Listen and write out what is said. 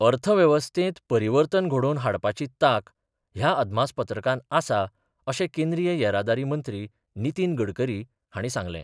अर्थवेवस्थेंत परिवर्तन घडोवन हाडपाची तांक ह्या अदमासपत्रकांत आसा अशें केंद्रीय येरादारी मंत्री नितीन गडकरी हांणी सांगलें.